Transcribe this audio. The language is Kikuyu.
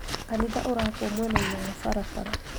Kanitha ũrakwo mwena-inĩ wa barabara